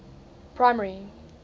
primary